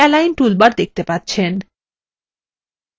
আপনি align toolbar দেখতে পাবেন